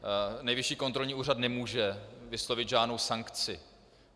Nejvyšší kontrolní úřad nemůže vyslovit žádnou sankci.